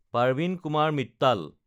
Parveen Kumar Mittal